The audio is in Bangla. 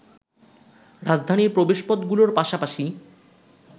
রাজধানীর প্রবেশপথগুলোর পাশাপাশি